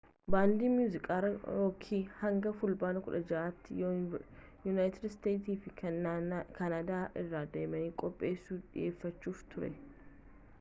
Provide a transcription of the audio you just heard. baandiin muuziqaa rookii hanga fulbaana 16tti yunaayitid steets fi kaanaadaa irra deemee qophiisaa dhiyeeffachuuf ture